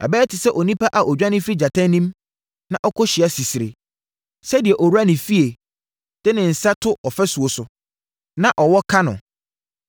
Ɛbɛyɛ te sɛ ɔnipa a ɔdwane firi gyata anim na ɔkohyia sisire, sɛ deɛ owura ne fie de ne nsa to ɔfasuo so, na ɔwɔ ka no.